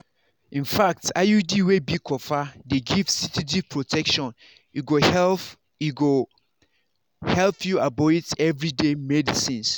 infact iud wey be copper dey give steady protection e go help e go help you avoid everyday medicines.